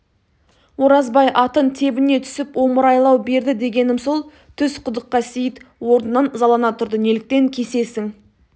оразбай атын тебіне түсіп омыраулай берді дегенім сол түс құдыққа сейіт орнынан ызалана тұрды неліктен кесесің